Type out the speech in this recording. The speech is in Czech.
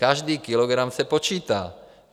Každý kilogram se počítá.